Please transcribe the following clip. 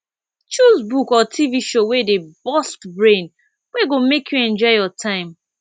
choose book or tv show wey dey burst brain wey go make you enjoy your time